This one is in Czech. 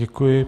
Děkuji.